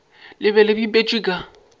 le be le bipetšwe ka